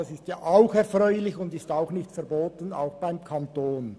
Das ist erfreulich und auch beim Kanton nicht verboten.